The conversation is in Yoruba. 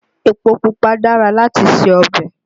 Epo pupa dára láti se ọbẹ̀